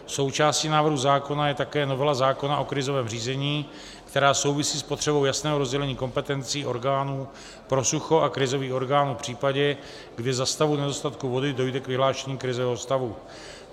Součástí návrhu zákona je také novela zákona o krizovém řízení, která souvisí s potřebou jasného rozdělení kompetencí orgánů pro sucho a krizových orgánů v případě, kdy za stavu nedostatku vody dojde k vyhlášení krizového stavu.